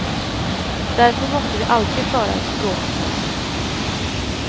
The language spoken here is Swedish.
Därför måste vi alltid föra en språkkamp.